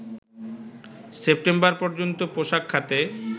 September পর্যন্ত পোশাক খাতে